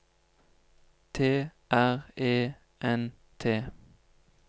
T R E N T